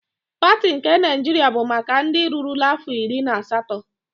Pati nke Naịjiria bụ maka ndị rurula afọ iri na asatọ.